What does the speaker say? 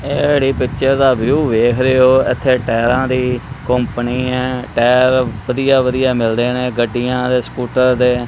ਐੜੇ picture ਦਾ view ਵੇਖ ਰਹੇ ਹੋ ਇਥੇ ਟਾਇਰਾਂ ਦੀ ਕੰਪਨੀ ਹੈ ਟਾਇਰ ਵਧੀਆ ਵਧੀਆ ਮਿਲਦੇ ਨੇ ਗੱਡੀਆਂ ਦੇ ਸਕੂਟਰ ਦੇ।